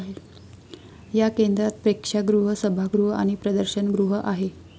या केंद्रात प्रेक्षागृह, सभागृह आणि प्रदर्शन गृह आहे.